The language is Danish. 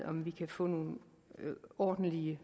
om vi kan få nogle ordentlige